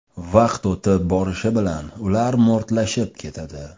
Vaqt o‘tib borishi bilan ular mo‘rtlashib ketadi.